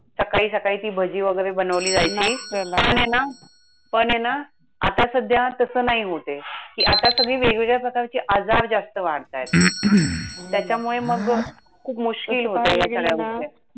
सकाळी सकाळी ती भजी वगैरे बनवली जायची. नाश्त्याला पणे ना, पणे ना, आता सध्या तसं नाही होतेय. कि आता सगळे वेगवेगळ्या प्रकारचे आजार जास्त वाढतायत. हम्म त्याच्यामुळे मगं खूप मुश्किल तसं पाहायला गेलं ना! होतायत ह्या सगळ्या